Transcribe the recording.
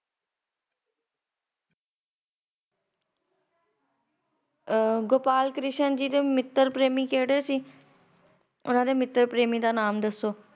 ਆਹ ਗੋਪਾਲ ਕ੍ਰਿਸ਼ਨ ਜੀਦੇ ਮਿੱਤਰ ਪ੍ਰੇਮੀ ਕੇੜੇ ਸੀ?